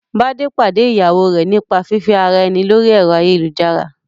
Bádé pàdé ìyàwó rẹ̀ nípa fífẹ́ ara ẹni lórí ẹ̀rọ ayélujára